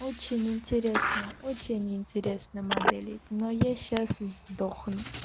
очень интересно очень интересно модели но я сейчас сдохну